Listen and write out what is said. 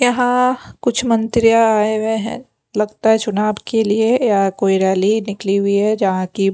यहाँ कुछ मंत्रिया आए हुए हैं लगता है चुनाव के लिए या कोई रैली निकली हुई है जहाँ की --